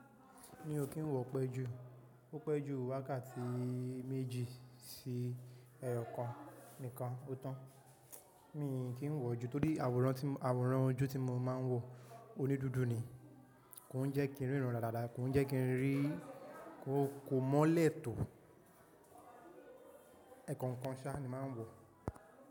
Mi ò kí ń wọ pẹ́ jù. Ó pẹ́ jù wákàtí méjì sí ẹyokàn nìkan ó tán. Mi kì í wọ ojú torí àwòrán ojú tí mo máa ń wọ onídúdú ni. Kò ń jẹ́ kí ń rírun dáadáa, kò ń jẹ́ kí ń rí-- kó mọ́lẹ̀ tó. Ẹ̀kan kan ṣá ni mo máa ń wọ.